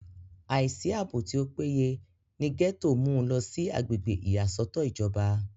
àìsí àbò tí ó péye ní gẹ́tò mú u lọ sí agbègbè ìyàsọ́tọ̀ ìjọba